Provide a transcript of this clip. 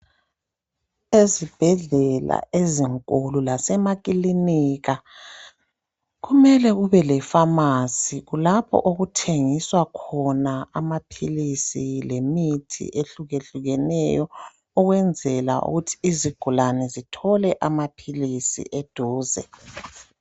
ezibhedlela ezinkulu lasemakilinika kumele kube le phamarcy lapho okuthengiswa khona amaphilisi lemithi ehlukehlukeneyo ukwenzela ukuthi izigulane zithole amaphilisi eduze